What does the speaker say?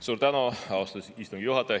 Suur tänu, austatud istungi juhataja!